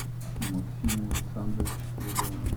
максиму александровичу спиридонову